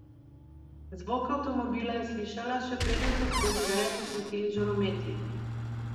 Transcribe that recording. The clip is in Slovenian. Zvok avtomobila je slišala, še preden so skozi veje posvetili žarometi.